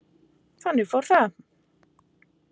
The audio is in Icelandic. Þannig fór það.